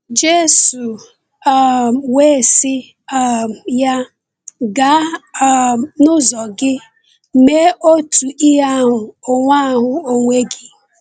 Jésù um wee sị um ya: “Gaa um n’ụzọ gị, mee otu ihe ahụ onwe ahụ onwe gị.”